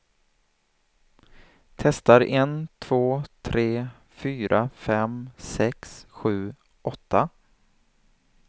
Testar en två tre fyra fem sex sju åtta.